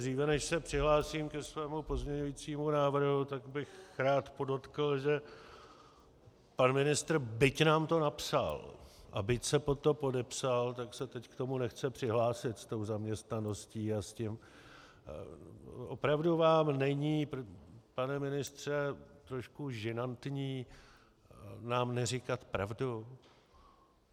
Dříve než se přihlásím ke svému pozměňujícímu návrhu, tak bych rád podotkl, že pan ministr, byť nám to napsal a byť se pod to podepsal, tak se teď k tomu nechce přihlásit, s tou zaměstnaností a s tím - opravdu vám není, pane ministře, trošku žinantní, nám neříkat pravdu?